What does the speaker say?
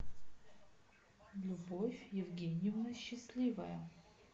любовь евгеньевна счастливая